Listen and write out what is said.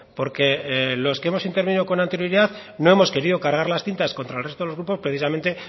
porque los que hemos intervenido con anterioridad no hemos querido cargar las tintas contra el resto de los grupos precisamente